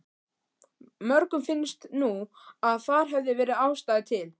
Mörgum finnst nú að þar hefði verið ástæða til.